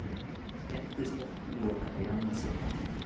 Skemmtistað lokað í annað sinn